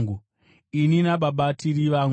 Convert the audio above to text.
Ini naBaba tiri vamwe.”